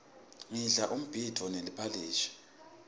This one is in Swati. ngidla umbhidvo neliphalishi